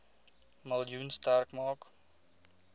miljoen sterk maak